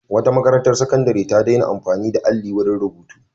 Wata makarantar sakandare ta daina amfani da alli wurin rubutu.